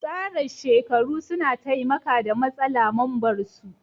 Tsara shekaru suna taimaka da matsala mambar su.